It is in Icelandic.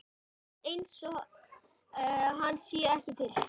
Læt einsog hann sé ekki til.